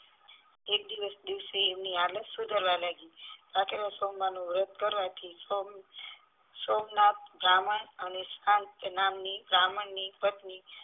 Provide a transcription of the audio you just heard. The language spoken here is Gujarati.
એક દિવસ દિવસે એની હાલત સુધારવા લાગયી ભાખરીયા સોમવાર નું વ્રતકરવાથી સોમ સોમનથ બ્રાહ્મણ અને સાન્તા નામ ની બ્રાહ્મણ ની પત્ની